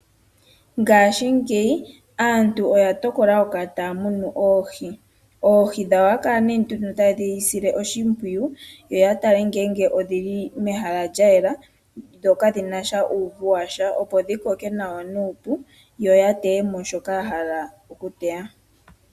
Ngashi ngeyi aantu oya tokola oku kala taya munu oohi. Oohi dhawo ohaya kala taye dhi sile oshimpwiyu, yo ya tale ngele odhili mehala lya yela, dho kadhina uuvu washa, opo dhi koke nawa nuupu, yo ya teyemo shoka ya hala oku teya.